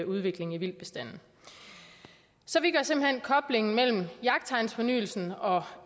udvikling i vildtbestanden så vi gør simpelt hen koblingen mellem jagttegnsfornyelsen og